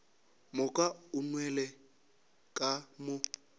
moka o nwelele ka mo